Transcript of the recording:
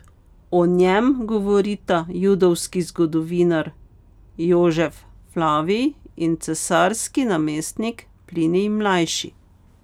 O njem govorita judovski zgodovinar Jožef Flavij in cesarski namestnik Plinij Mlajši.